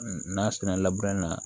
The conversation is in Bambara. N'a sɛnna labɛn na